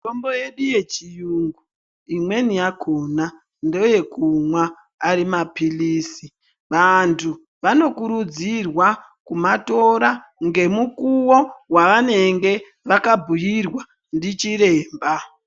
Mitombo yedu yechiyungu imweni yakhona ndeyekumwa ari maphilizi, vantu vanokurudzirwa kumatora ngemukuwo wavanenge vakabhuirwa ndichiremba.